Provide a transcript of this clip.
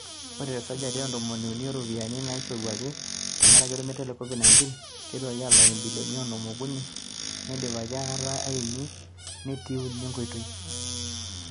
Ore te sajati e ntomoni uni o ropiyiani naishoruaki tenkaraki olmeitai le Covid 19, eiteruaki alak imbilioni onom o kuni , neidipaki ataka imiet netii uni enkoitoi